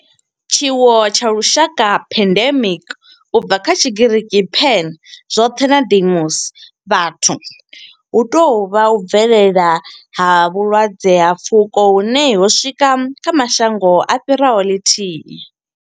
Tshiwo tsha lushaka pandemic, u bva kha Tshigiriki pan, zwothe na demos, vhathu hu tou vha u bvelela ha vhulwadze ha pfuko hune ho swika kha mashango a fhiraho ḽithihi.